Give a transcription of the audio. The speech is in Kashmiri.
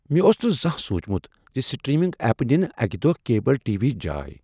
مےٚ اوس نہٕ زانٛہہ سوٗنٛچمت ز سٹریمنگ ایپہٕ نن اکہ دۄہ کیبل ٹی وی ہٕچ جاے۔